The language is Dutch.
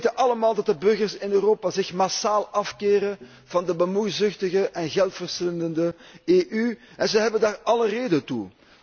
Wij weten allemaal dat de burgers in Europa zich massaal afkeren van de bemoeizuchtige en geldverslindende EU en zij hebben daar alle reden toe.